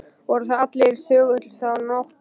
Voru þar allir þögulir þá nótt.